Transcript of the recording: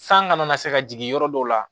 San kana na se ka jigin yɔrɔ dɔw la